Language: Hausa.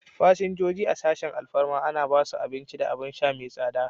Fasinjoji a sashin alfarma ana ba su abin ci da abin sha mai tsada.